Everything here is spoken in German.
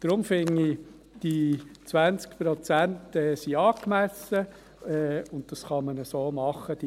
Deshalb finde ich, dass die 20 Prozent angemessen sind und man dies so machen kann.